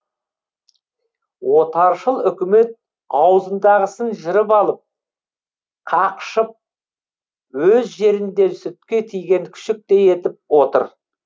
отаршыл үкімет аузындағысын жырып алып қақшып өз жерінде сүтке тиген күшіктей етіп отыр